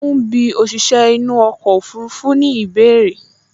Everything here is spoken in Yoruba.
Mo ń bí òṣìṣẹ́ inú ọkọ̀ ọfurufú ní ìbéèrè